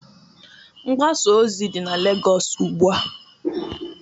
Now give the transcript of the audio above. Mgbasa ozi dị na Lagos ugbu a